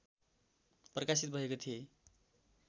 प्रकाशित भएका थिए